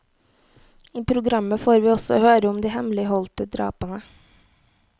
I programmet får vi også høre om de hemmeligholdte drapene.